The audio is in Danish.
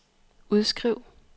udskriv